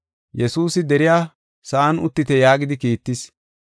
Yesuusi deriya sa7an uttite yaagidi kiittis.